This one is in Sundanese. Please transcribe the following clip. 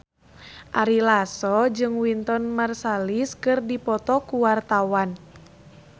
Ari Lasso jeung Wynton Marsalis keur dipoto ku wartawan